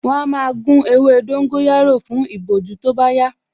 Wọ́n á máa gún ewé dóngóyárò fún ìbojú tó bá yá